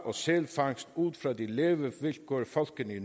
og sælfangst ud fra de levevilkår folkene i